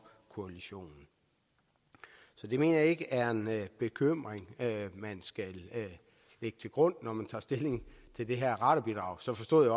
koalitionen så det mener jeg ikke er en bekymring man skal lægge til grund når man skal tage stilling til det her radarbidrag jeg forstod